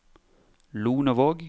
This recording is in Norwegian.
Lonevåg